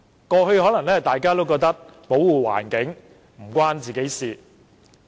過去大家可能覺得，環保與自己無關。